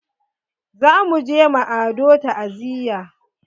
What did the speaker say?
Za muje ma Ado ta'aziya.